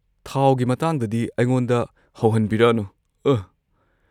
ꯊꯥꯎꯒꯤ ꯃꯇꯥꯡꯗꯗꯤ ꯑꯩꯉꯣꯟꯗ ꯍꯧꯍꯟꯕꯤꯔꯛꯑꯅꯨ, ꯑꯍ꯫